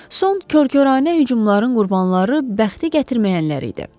Son kor-koranə hücumların qurbanları bəxti gətirməyənlər idi.